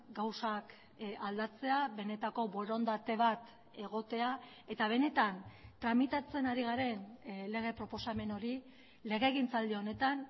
gauzak aldatzea benetako borondate bat egotea eta benetan tramitatzen ari garen lege proposamen hori legegintzaldi honetan